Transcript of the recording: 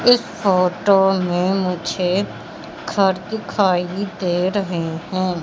इस फोटो में मुझे घर दिखाइ दे रहे हैं।